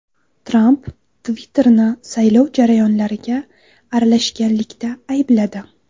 Tramp Twitter’ni saylov jarayonlariga aralashganlikda aybladi.